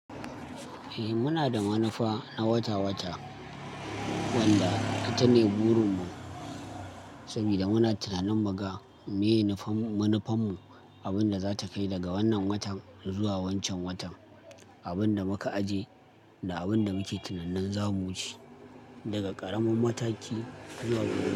Eh muna da manufa na wata-wata wanda ita ne burin mu saboda muna tunanin mu ga me manufarmu abin da zata kai daga wannan watan zuwa wancan watan, abin da muka aje da abin da muke tunanin za mu wuce daga ƙaramin mataki zuwa gaba.